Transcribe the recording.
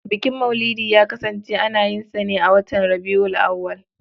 Bukin maulidi ya kasance ana yin sa ne a watan Rabi'ul Awwal.